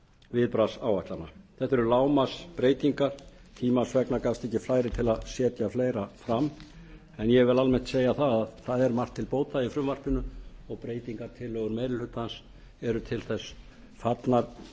viðbragðsáætlana þetta eru lágmarksbreytingar tímans vegna gafst ekki færi til að setja fleira fram en ég vil almennt segja að það er margt til bóta í frumvarpinu og breytingartillögur meiri hlutans eru til þess fallnar